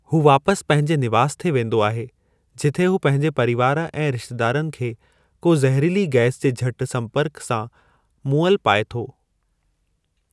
हू वापसि पंहिंजे निवास ते वेंदो आहे जिथे हू पंहिंजे परीवार ऐं रिश्तेदारनि खे को ज़हरीली गैस जे झटि संपर्कु सां मुअल पाए थो।